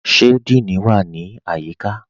Ṣe Díìní wa ni ayíkà?